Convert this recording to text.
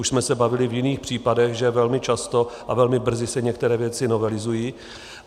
Už jsme se bavili v jiných případech, že velmi často a velmi brzy se některé věci novelizují.